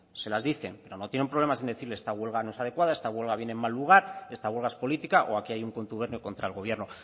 se las dicen no tienen problemas en decir esta huelga no es adecuada esta huelga viene en mal lugar esta huelga es política o aquí hay un contubernio contra el gobierno